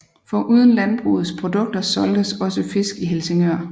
Foruden landbrugets produkter solgtes også fisk i Helsingør